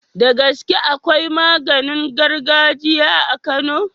Da gaske akwai maganin gargajiya a kano